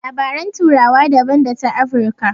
Labaran turawa daban da ta Afirka.